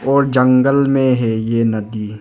और जंगल में है ये नदी।